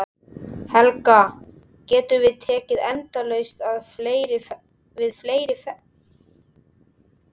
Helga, getum við tekið endalaust við fleiri ferðamönnum?